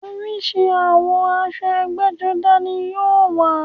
Oríṣi àwọ̀ aṣọ ẹgbẹ́-jọdá ní yóò wà.